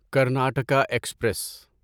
Karnataka express